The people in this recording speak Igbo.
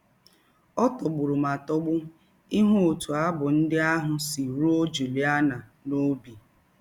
Ọ tọgbụrụ m atọgbu ịhụ ọtụ abụ ndị ahụ si rụọ Juliana n’ọbi!